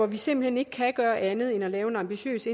vi simpelt hen ikke kan gøre andet end at lave en ambitiøs